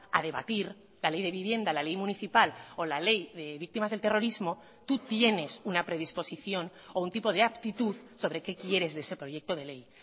a debatir la ley de vivienda la ley municipal o la ley de víctimas del terrorismo tú tienes una predisposición o un tipo de aptitud sobre qué quieres de ese proyecto de ley